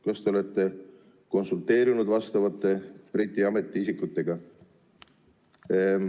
Kas te olete konsulteerinud Briti ametiisikutega?